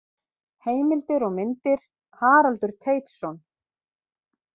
Heimildir og myndir: Haraldur Teitsson.